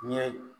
Ɲɛ